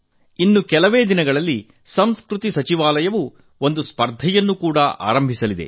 ಇನ್ನು ಕೆಲವೇ ದಿನಗಳಲ್ಲಿ ಸಂಸ್ಕೃತಿ ಸಚಿವಾಲಯ ಒಂದು ಸ್ಪರ್ಧೆಯನ್ನು ಕೂಡಾ ಆರಂಭಿಸಲಿದೆ